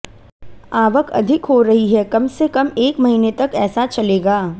आवक अधिक हो रही है कम से कम एक महीने तक ऐसा चलेगा